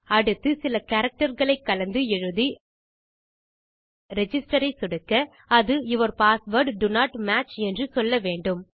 அடுத்து சில கேரக்டர்ஸ் ஐ கலந்து எழுதி ரிஜிஸ்டர் ஐ சொடுக்க அது your passwords do not match என்று சொல்ல வேண்டும்